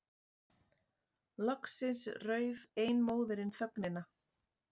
Loksins rauf ein móðirin þögnina.